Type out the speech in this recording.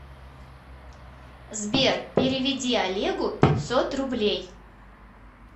сбер переведи олегу пятьсот рублей